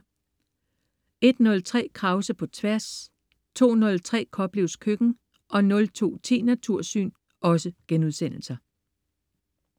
01.03 Krause på Tværs* 02.03 Koplevs Køkken* 02.10 Natursyn*